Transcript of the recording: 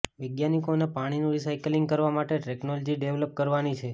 વૈજ્ઞાનિકોને પાણીનું રિસાઈકલિંગ કરવા માટે ટેક્નોલોજી ડેવલપ કરવાની છે